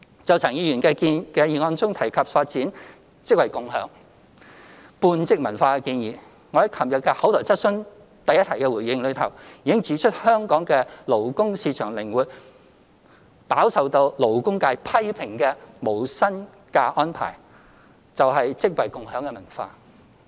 就陳克勤議員的議案中提及發展"職位共享"半職文化的建議，我在昨日第一項口頭質詢的回應中，已指出香港的勞工市場靈活，飽受勞工界批評的無薪假安排正是"職位共享"的文化。